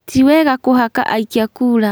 Tiwega kũhaka aikia kura